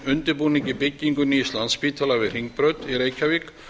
undirbúningi byggingar nýs landspítala við hringbraut í reykjavík